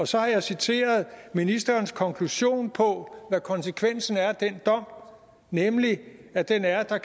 så har jeg citeret ministerens konklusion på hvad konsekvensen er af den dom nemlig at den er at der